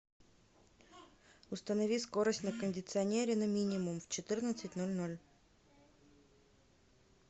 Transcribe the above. установи скорость на кондиционере на минимум в четырнадцать ноль ноль